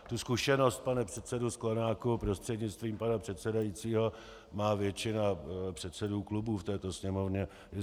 Tu zkušenost, pane předsedo Sklenáku prostřednictvím pana předsedajícího, má většina předsedů klubů v této Sněmovně.